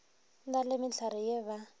na le mehlare ye ba